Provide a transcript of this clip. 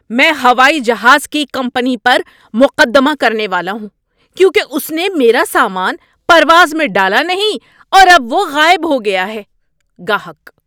میں ہوائی جہاز کی کمپنی پر مقدمہ کرنے والا ہوں کیونکہ اس نے میرا سامان پرواز میں ڈالا نہیں اور اب وہ غائب ہو گیا ہے۔ (گاہک)